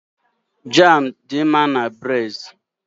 Jám dị mma na bréd